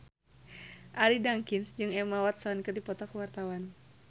Arie Daginks jeung Emma Watson keur dipoto ku wartawan